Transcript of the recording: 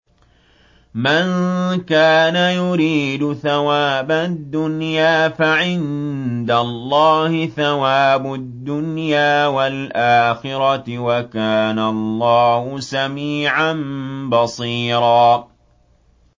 مَّن كَانَ يُرِيدُ ثَوَابَ الدُّنْيَا فَعِندَ اللَّهِ ثَوَابُ الدُّنْيَا وَالْآخِرَةِ ۚ وَكَانَ اللَّهُ سَمِيعًا بَصِيرًا